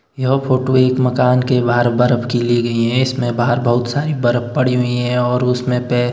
यह फोटो एक मकान के बाहर बर्फ की ली गई है इसमें बाहर बहुत सारी बर्फ पड़ी हुई हैं और उसमें पै--